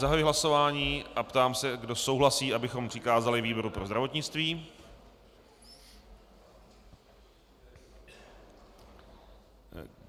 Zahajuji hlasování a ptám se, kdo souhlasí, abychom přikázali výboru pro zdravotnictví.